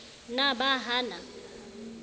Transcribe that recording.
na ba ha a na